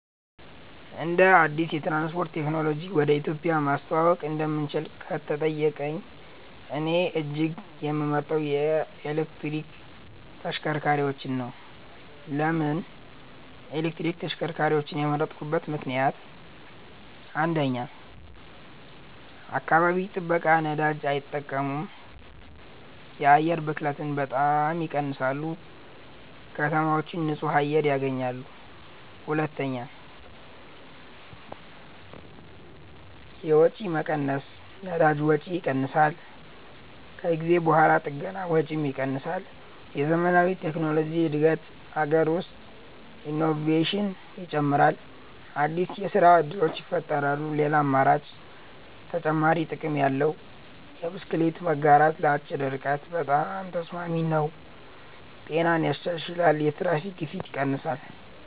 አንድ አዲስ የትራንስፖርት ቴክኖሎጂ ወደ ኢትዮጵያ ማስተዋወቅ እንደምችል ከተጠየቀኝ፣ እኔ እጅግ የምመርጠው የኤሌክትሪክ ተሽከርካሪዎች ነው። ለምን ኤሌክትሪክ ተሽከርካሪዎችን የመረጥኩበት ምክንደያት? 1. አካባቢ ጥበቃ ነዳጅ አይጠቀሙም የአየር ብክለትን በጣም ይቀንሳሉ ከተማዎች ንጹህ አየር ያገኛሉ 2. የወጪ መቀነስ ነዳጅ ወጪ ይቀንሳል ከጊዜ በኋላ ጥገና ወጪም ይቀንሳል የዘመናዊ ቴክኖሎጂ እድገት አገር ውስጥ ኢኖቬሽን ይጨምራል አዲስ የስራ እድሎች ይፈጠራሉ ሌላ አማራጭ (ተጨማሪ ጥቅም ያለው) የብስክሌት መጋራት ለአጭር ርቀት በጣም ተስማሚ ነው ጤናን ያሻሽላል የትራፊክ ግፊት ይቀንሳል